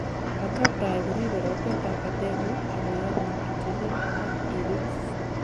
vertebrae koribei rotet ab batengung ak koyanun itelel ak iribis